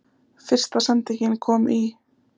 Fyrsta sendingin komin í?